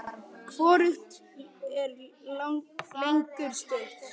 Hvorugt er lengur stutt.